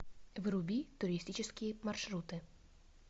вруби туристические маршруты